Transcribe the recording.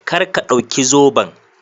Kar ka dauki zoben.